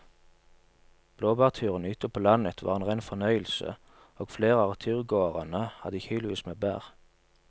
Blåbærturen ute på landet var en rein fornøyelse og flere av turgåerene hadde kilosvis med bær.